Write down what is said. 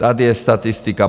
Tady je statistika.